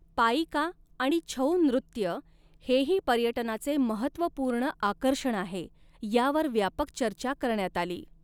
पाईका आणि छऊ नृत्य हेही पर्यटनाचे महत्त्वपूर्ण आकर्षण आहे, यावर व्यापक चर्चा करण्यात आली.